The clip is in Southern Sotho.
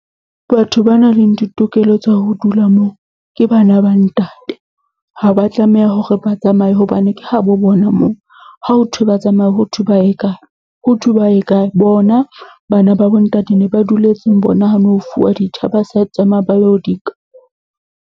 Batho ba nang le ditokelo tsa ho dula moo ke bana ba ntate. Ha ba tlameha hore ba tsamaye hobane ke ha bo bona moo. Ha ho thwe ba tsamaye ho thwe ba ye kae, ho thwe ba ye kae? Bona bana ba bo ntate ne ba duletseng bona ha no ho fuwa ditjha ba sa tsamaya ba yo di nka.